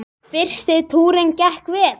Fyrsti túrinn gekk vel.